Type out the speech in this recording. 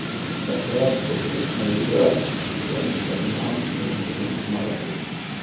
Takrat, ko se začne igra, sem zagnan in želim zmagati.